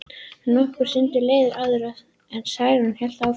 Nokkur stund leið áður en Særún hélt áfram.